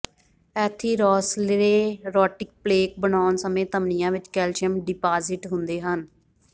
atherosclerotic plaque ਬਣਾਉਣ ਸਮੇਂ ਧਮਨੀਆਂ ਵਿਚ ਕੈਲਸ਼ੀਅਮ ਡਿਪਾਜ਼ਿਟ ਹੁੰਦੇ ਹਨ